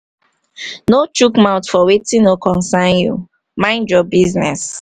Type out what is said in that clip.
no chook mouth for wetin no concern you mind your business